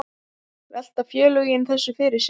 Velta félögin þessu fyrir sér?